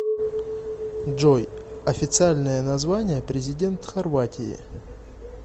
джой официальное название президент хорватии